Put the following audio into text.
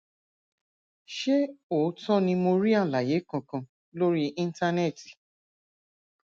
ṣé òótọ ni mi ò rí àlàyé kankan lórí íńtánẹẹtì